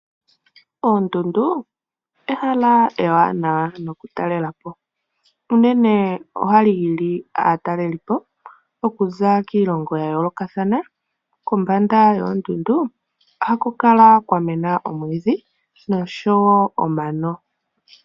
Oondundu ehala ewanawa nokutalelapo unene ohali hili aatalelipo okuza kiilongo yayoolokathana . Kombanda yoondundu ohaku kala kwamena omwiidhi noshowoo omano.